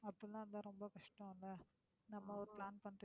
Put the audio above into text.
அப்படி எல்லாம் இருந்தா ரொம்ப கஷ்டம் இல்ல நம்ம ஒரு plan பண்ணிட்டு